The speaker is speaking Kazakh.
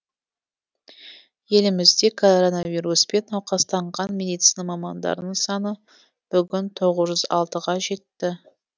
елімізде коронавируспен науқастанған медицина мамандарының саны бүгін тоғыз жүз алтыға жетті